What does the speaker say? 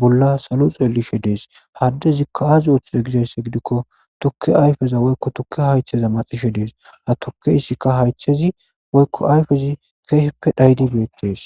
bolla salo xelidhe dees ha adecika azi othize gizaysa gidiko tuke ayfe woyko yuke haythe maxishe dees ha tukeyska haythezi woylo ayfezi keeji dhayishe beetes